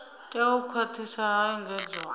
tea u khwathiswa ha engedzwa